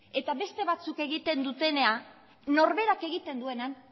eta beste batzuk egiten dutena norberak egiten duenean